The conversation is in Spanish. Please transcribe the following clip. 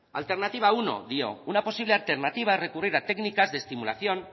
alternativa uno dio una posible alternativa recurrida técnicas de estimulación